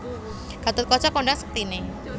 Gathotkaca kondhang sektiné